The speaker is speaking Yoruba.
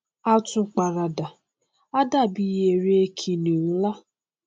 á tún paradà á dàbí ère kìnìún nlá